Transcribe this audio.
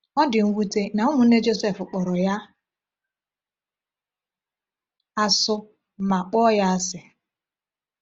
Ọ dị mwute na ụmụnne Jọsef kpọrọ ya asụ ma kpọọ ya asị.